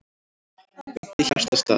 Beint í hjartastað